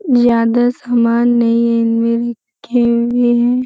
ज्यादा सामान नहीं है इनमे लिखे हुए हैं।